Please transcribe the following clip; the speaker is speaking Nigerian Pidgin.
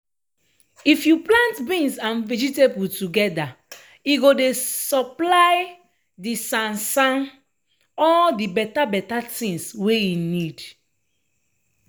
if you plant beans and vegetable togeda e go supply de sansan all de beta beta tins wey e need.